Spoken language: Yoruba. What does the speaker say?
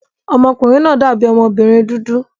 Ọmọkùnrin náà dàbí ọmọbìnrin dúdú